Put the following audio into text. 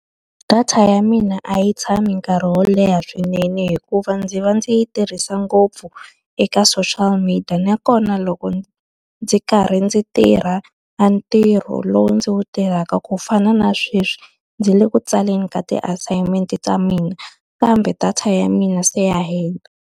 Data ya mina a yi tshami nkarhi wo leha swinene hikuva ndzi va ndzi yi tirhisa ngopfu eka social media. Nakona loko ndzi karhi ndzi tirha a ntirho lowu ndzi wu tirhaka ku fana na sweswi, ndzi le ku tsaleni ka ti-assignment ta mina kambe data ya mina se ya hina.